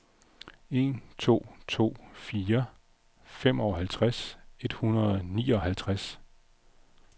en to to fire femoghalvtreds et hundrede og nioghalvtreds